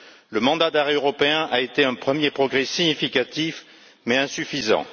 Le mandat d'arrêt européen a été un premier progrès significatif, mais insuffisant.